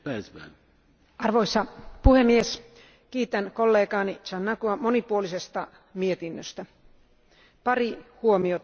Arvoisa puhemies, kiitän kollegaani Giannakoua monipuolisesta mietinnöstä, pari huomiota kuitenkin.